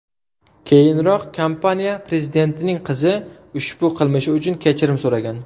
Keyinroq kompaniya prezidentining qizi ushbu qilmishi uchun kechirim so‘ragan.